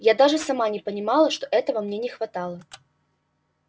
я даже сама не понимала как мне этого не хватало